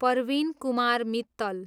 Parveen Kumar Mittal